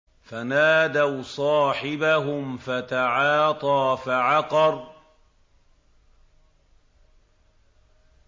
فَنَادَوْا صَاحِبَهُمْ فَتَعَاطَىٰ فَعَقَرَ